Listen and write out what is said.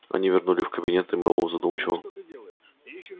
они вернулись в кабинет и мэллоу задумчиво